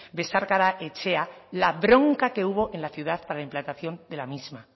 besarkada etxea la bronca que hubo en la ciudad para la implantación de la misma